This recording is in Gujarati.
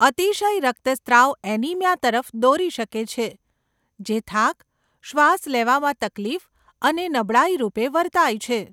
અતિશય રક્તસ્રાવ એનિમિયા તરફ દોરી શકે છે જે થાક, શ્વાસ લેવામાં તકલીફ અને નબળાઈ રૂપે વર્તાય છે.